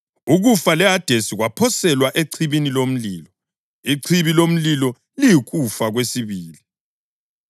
Ukufa leHadesi kwaphoselwa echibini lomlilo. Ichibi lomlilo liyikufa kwesibili.